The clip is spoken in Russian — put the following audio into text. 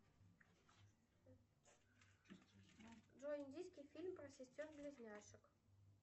джой индийский фильм про сестер близняшек